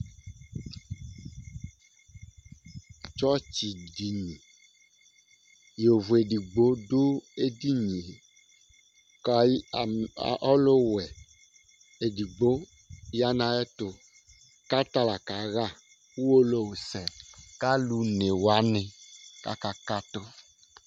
Tsɔtsi dini Yovo ɛdigbo du edini ye kʋ ɔluwɛ ɛdigbo ya ayʋɛtu kʋ ata la kaɣa Uwolowu sɛ kʋ alu ɔne wani kʋ aka katu